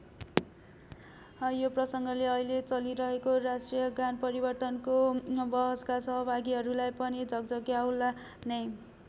यो प्रसङ्गले अहिले चलिरहेको राष्ट्रियगान परिवर्तनको वहसका सहभागीहरूलाई पनि झक्झक्याउला नै।